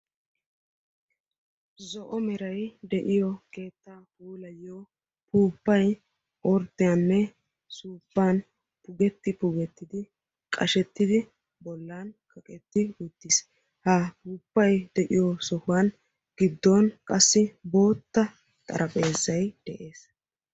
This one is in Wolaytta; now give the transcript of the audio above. Zo"o meray de'iyo keettaa puulayiyo puuppay orddiyanne suuppan pugeti pugettidi qashettidi bollan kaqetti uttiis, ha puuppay de'iyo sohuwan gidduwan qassi boottaa xarphpheezay dees.